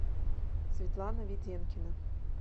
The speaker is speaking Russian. светлана веденкина